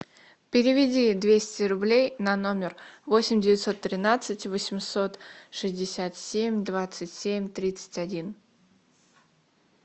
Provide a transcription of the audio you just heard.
переведи двести рублей на номер восемь девятьсот тринадцать восемьсот шестьдесят семь двадцать семь тридцать один